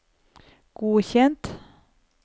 godkjent